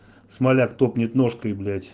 смоляк топнет ножкой блять